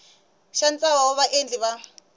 xa ntlawa wa vaendli va